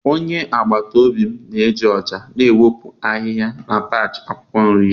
onye agbata obi m na-eji ọja na-ewepụ ahihia na patch akwụkwọ nri ya.